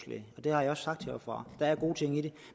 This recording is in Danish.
det har jeg også sagt heroppefra der er gode ting i det